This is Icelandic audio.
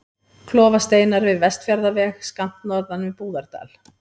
Klofasteinar við Vestfjarðaveg, skammt norðan við Búðardal.